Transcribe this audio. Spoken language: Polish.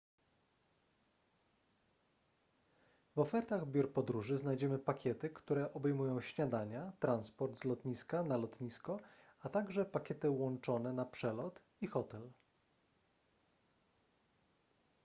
w ofertach biur podróży znajdziemy pakiety które obejmują śniadania transport z lotniska/na lotnisko a także pakiety łączone na przelot i hotel